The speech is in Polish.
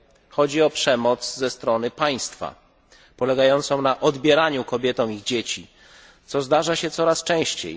Chodzi o przemoc ze strony państwa, polegającą na odbieraniu kobietom ich dzieci, co zdarza się coraz częściej.